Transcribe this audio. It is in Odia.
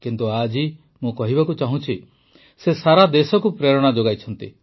କିନ୍ତୁ ଆଜି ମୁଁ କହିବାକୁ ଚାହୁଁଛି ଯେ ସେ ସାରା ଦେଶକୁ ପ୍ରେରଣା ଯୋଗାଇଛନ୍ତି